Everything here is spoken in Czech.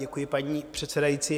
Děkuji, paní předsedající.